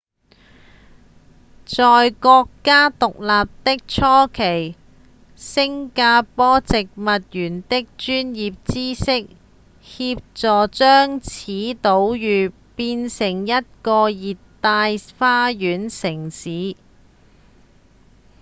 在國家獨立的初期新加坡植物園的專業知識協助將此島嶼轉變成一個熱帶花園城市